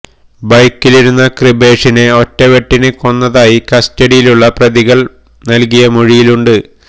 ബൈക്കിലിരുന്ന കൃപേഷിനെ ഒറ്റ വെട്ടിന് കൊന്നതായി കസ്റ്റഡിയിലുള്ള പ്രതികള് നല്കിയ മൊഴിയിലുണ്ട്